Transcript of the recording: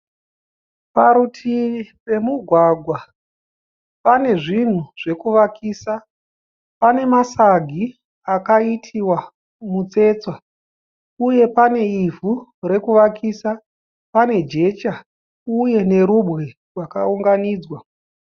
Parutivi pemugwagwa pane zvinhu zvekuvakisa. Pane masagi akaitiwa mutsetse uye pane ivhu rekuvakisa. Pane jecha uye nerubwe rwakaunganidzwa.